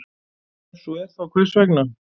Ef svo er, þá hvers vegna?